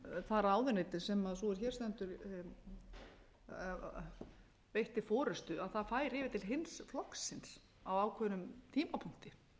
það ráðuneyti sem sú er hér stendur veitti forustu það færi yfir til hins flokksins á ákveðnum tímapunkti þannig að það var